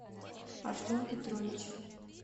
артем петрович